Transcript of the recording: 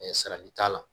salati t'a la